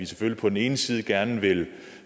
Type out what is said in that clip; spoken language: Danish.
selvfølgelig på den ene side gerne vil